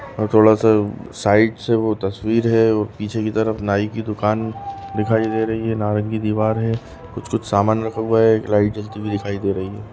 और थोड़ा सा साइड से वो तस्वीर है पीछे की तरफ नाई की दुकान दिखाई दे रही है नारंगी दीवार है कुछ कुछ सामान रखा हुआ है एक लाइट जलती हुई दिखाई दे रही है।